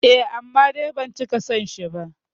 Eh, amma dai ban cika son shi ba